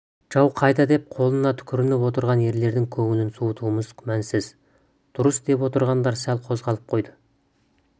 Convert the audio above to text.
жау қайда деп қолына түкірініп отырған ерлердің көңілін суытуымыз күмәнсіз дұрыс деп отырғандар сәл қозғалып қойды